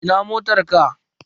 Ina motar ka?